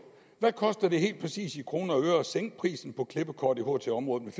hvad koster det helt præcis i kroner og øre at sænke prisen på klippekort i ht området